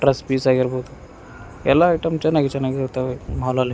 Dress piece ಆಗಿರ್ಬೋದು ಎಲ್ಲ item ಚೆನ್ನಾಗಿ ಚೆನ್ನಾಗಿ ಇರ್ತಾವೆ ಮಾಲಲ್ಲಿ .